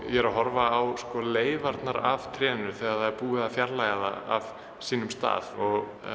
ég er að horfa á leifarnar af trénu þegar það er búið að fjarlægja það af sínum stað og